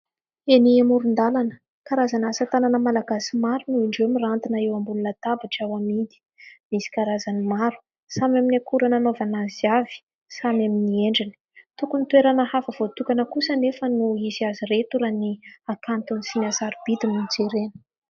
Eny amoron-dalana karazana asa tanana malagasy maro no indreo mirantina eo amboniny latabatra ho amidy. Misy karazany maro, samy amin'ny akora nanaovany azy avy, samy amin'ny endriny. Tokony toerana hafa voatokana kosa anefa no hisy azy ireto raha ny hakantony sy ny hasarobidy no jerena.